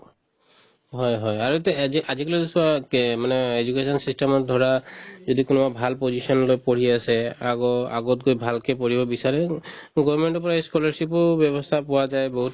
হয় হয় আৰু এতিয়া এদে আজিকালিতোতো চোৱা কে মানে education system ত ধৰা যদি কোনোবা ভাল position এটাত পঢ়ি আছে আগৰ~ আগতকৈ ভালকে পঢ়িব বিচাৰে to government ৰ পৰা ই scholarship ও ব্যৱস্থা পোৱা যায় বহুত